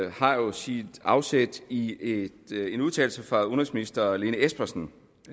har jo sit afsæt i en udtalelse fra udenrigsminister lene espersen